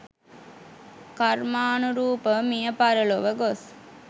කර්මානුරූපව මිය පරලොව ගොස්